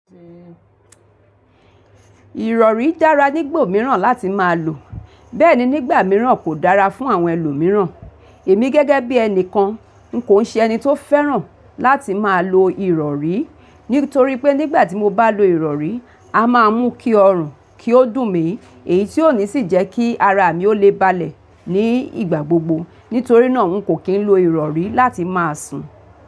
Ìrọ̀rí dára nígbà mìíràn láti máa lò, bẹ́ẹ̀ ni nígbà mìíràn kò dára fún àwọn ẹlòmíràn. Èmi gẹ́gẹ́ bí ẹni kan n kò n ṣe ẹni tó fẹ́ràn láti máa lo ìrọ̀rí, nítorí pé nígbà tí mo bá lo ìrọ̀rí, a máa mú kí ọrùn kí ó dùn mi èyí tí ò ní sì jẹ́ kí ara mi ó le balẹ̀ ní ìgbà gbogbo. Nítorí náà n kò kí n lo ìrọ̀rí láti máa sùn.